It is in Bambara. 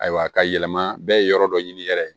Ayiwa ka yɛlɛma bɛɛ ye yɔrɔ dɔ ɲini yɛrɛ ye